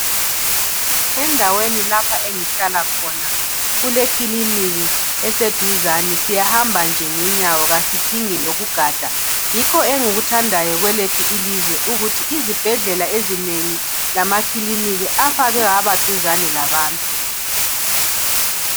Endaweni lapha engihlala khona kulekiliniki esduzane. Siyahamba nje ngenyawo. Kasidingi lokugada. Yikho engikuthandayo kwelethu ilizwe, ukuthi izibhedlela ezinengi, lamakiliniki afakwe, abaduzane labantu.